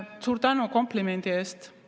Suur tänu komplimendi eest!